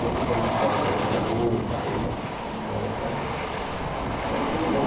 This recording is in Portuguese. Aí o pessoal do hospital lavava a minha roupa, aí eu já fiz uma outra... Aí foi legal